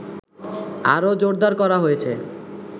আরো জোরদার করা হয়েছে